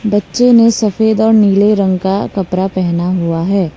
बच्चे ने सफेद और नीले रंग का कपड़ा पहना हुआ है।